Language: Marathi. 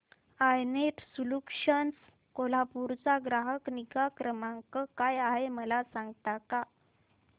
आय नेट सोल्यूशन्स कोल्हापूर चा ग्राहक निगा क्रमांक काय आहे मला सांगता का